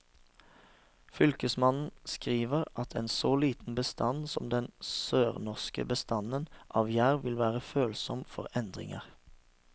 Fylkesmannen skriver at en så liten bestand som den sørnorske bestanden av jerv vil være følsom for endringer.